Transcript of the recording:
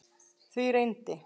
Því reyndi